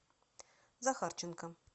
захарченко